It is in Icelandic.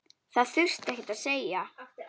Það þurfti ekkert að segja.